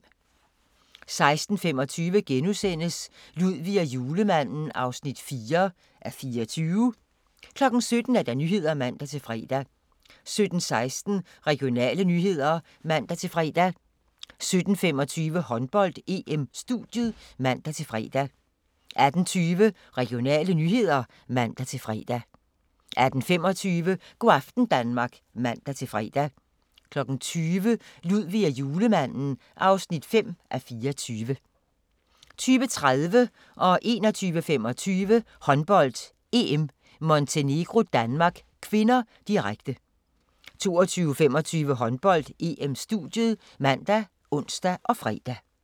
16:25: Ludvig og Julemanden (4:24)* 17:00: Nyhederne (man-fre) 17:16: Regionale nyheder (man-fre) 17:25: Håndbold: EM - studiet (man-fre) 18:20: Regionale nyheder (man-fre) 18:25: Go' aften Danmark (man-fre) 20:00: Ludvig og Julemanden (5:24) 20:30: Håndbold: EM - Montenegro-Danmark (k), direkte 21:25: Håndbold: EM - Montenegro-Danmark (k), direkte 22:25: Håndbold: EM - studiet ( man, ons, fre)